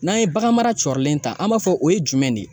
N'an ye bagan mara cɔrIlen ta an b'a fɔ o ye jumɛn de ye ?